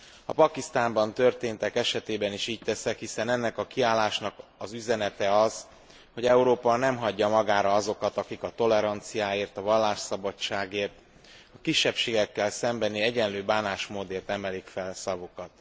A Pakisztánban történtek esetében is így teszek, hiszen ennek a kiállásnak az üzenete az, hogy Európa nem hagyja magára azokat, akik a toleranciáért, a vallásszabadságért, a kisebbséggel szembeni egyenlő bánásmódért emelik fel szavukat.